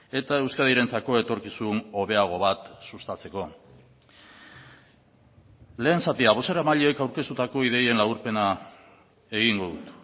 eta euskadirentzako etorkizun hobeago bat sustatzeko lehen zatia bozeramaileek aurkeztutako ideien laburpena egingo dut